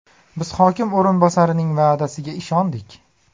Biz hokim o‘rinbosarining va’dasiga ishondik.